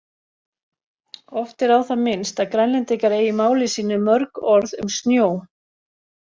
Oft er á það minnst að Grænlendingar eigi í máli sínu mörg orð um snjó.